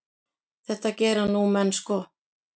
Þetta gera nú menn sko.